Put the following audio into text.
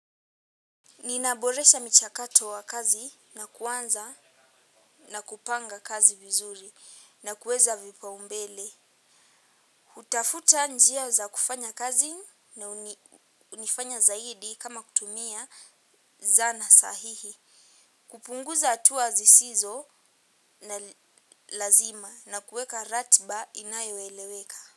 Ninaboresha michakato wa kazi na kuanza na kupanga kazi vizuri na kuweza vipa umbele. Utafuta njia za kufanya kazi na unifanya zaidi kama kutumia zana sahihi. Kupunguza hatua zisizo na lazima na kuweka ratiba inayoeleweka.